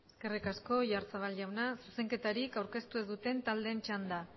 eskerrik asko oyarzabal jauna zuzenketarik aurkeztu ez duten taldeen txanda